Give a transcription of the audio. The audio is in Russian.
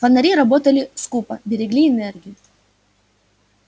фонари работали скупо берегли энергию